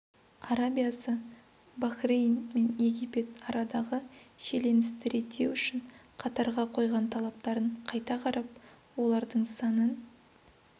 арабиясы бахрейн мен египет арадағы шиеленісті реттеу үшін қатарға қойған талаптарын қайта қарап олардың санын